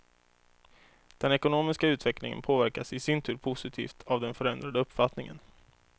Den ekonomiska utvecklingen påverkas i sin tur positivt av den förändrade uppfattningen.